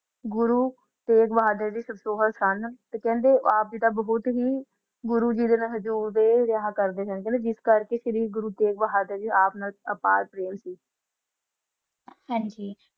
ਗੋਰੋ ਦਾ ਨਾਲ ਦਾ ਹੀ ਹੋਂਦਾ ਨਾ ਖੰਡ ਆਪ ਹੀ ਬੋਹਤ ਕੁਛ ਗੁਰੋ ਜੀ ਦਾ ਵਹਾ ਕਰ ਦਾ ਸੀ